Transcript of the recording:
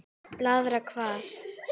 Blaðra hvað?